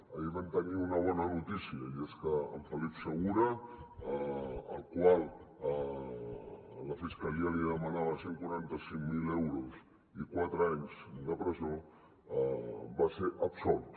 ahir vam tenir una bona notícia i és que en felip segura al qual la fiscalia li demanava cent i quaranta cinc mil euros i quatre anys de presó va ser absolt